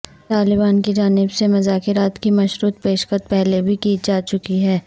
طالبان کی جانب سے مذاکرات کی مشروط پیشکش پہلے بھی کی جا چکی ہے